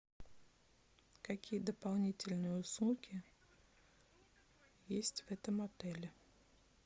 какие дополнительные услуги есть в этом отеле